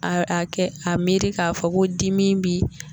A a kɛ a miiri k'a fɔ ko dimi bi